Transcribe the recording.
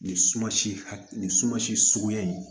Nin sumansi nin suma si suguya in